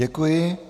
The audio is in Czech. Děkuji.